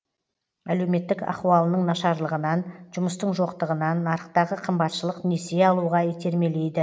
әлеуметтік ахуалының нашарлығынан жұмыстың жоқтығынан нарықтағы қымбатшылық несие алуға итермелейді